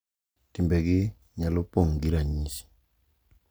Timbegi nyalo pong’ gi ranyisi.